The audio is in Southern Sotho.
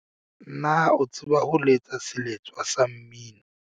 na o tseba ho letsa seletswa sa mmino